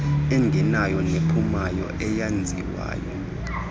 engenayo nephumayo eyenziwayo